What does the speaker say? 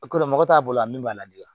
O ko la mɔgɔ t'a bolo a min b'a lajɔ